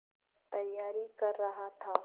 तैयारी कर रहा था